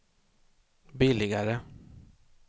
billigare